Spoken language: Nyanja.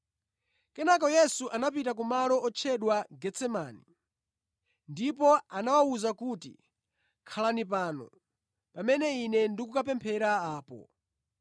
Kenaka Yesu anapita ku malo otchedwa Getsemani, ndipo anawawuza kuti, “Khalani pano pamene Ine ndikukapemphera apo.”